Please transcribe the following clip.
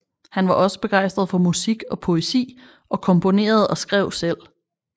Han var også begejstret for musik og poesi og komponerede og skrev selv